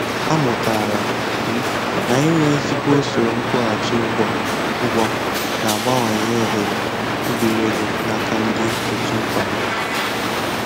Amụtara m na inwe ezigbo usoro nkwụghachi ụgwọ ụgwọ na-abawanye ohere ibiri ego na-aka ndị otu nkwado